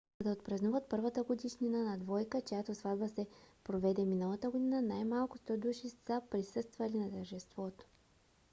за да отпразнуват първата годишнина на двойка чиято сватба се проведе миналата година най-малко 100 души са присъствали на тържеството